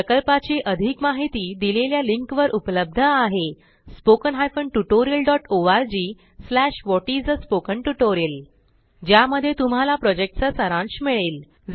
प्रकल्पाची अधिक माहिती दिलेल्या लिंकवर उपलब्ध आहेspoken tutorialorgwhat is a spoken tutorial ज्यामध्ये तुम्हाला प्रॉजेक्टचा सारांश मिळेल